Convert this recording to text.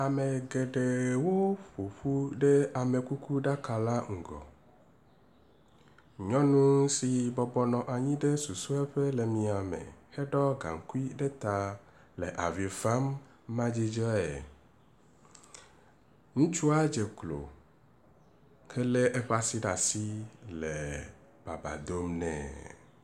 Ame geɖewo ƒoƒu ɖe amekukuɖaka la ŋgɔ, nyɔnu si bɔbɔ nɔ anyi ɖe susue ƒe le miame heɖɔ gaŋkui ɖe ta le avi fam madzudzɔe, ŋutsua dzeklo hele eƒe asi ɖe asi henɔ baba dom nɛ